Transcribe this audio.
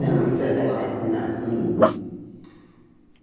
Sem ser do lar. Não, não, não.